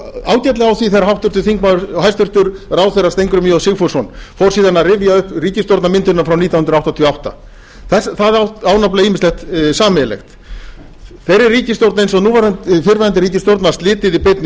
það fór ágætlega á því þegar hæstvirtur ráðherra steingrímur j sigfússon fór síðan að rifja upp ríkisstjórnarmyndunina frá nítján hundruð áttatíu og átta það á nefnilega ýmislegt sameiginlegt þeirri ríkisstjórn eins og fyrrverandi ríkisstjórn var slitið í beinni